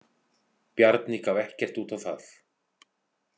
Bjarni gaf ekkert út á það.